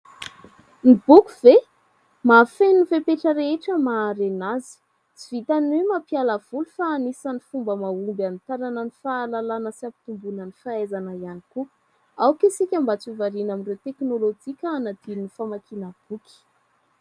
Ny boky ve ? Mahafeno ny fepetra rehetra maha-harena azy. Tsy vitan'ny hoe mampiala voly fa anisan'ny fomba mahomby anitarana ny fahalalana sy ampitomboana ny fahaizana ihany koa. Aoka isika mba tsy ho variana amin'ireo teknolojia ka hanadino ny famakiana boky.